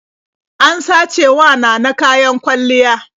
An sacewa Nana kayan kwalliya.